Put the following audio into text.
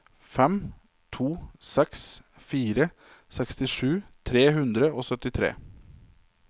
fem to seks fire sekstisju tre hundre og syttitre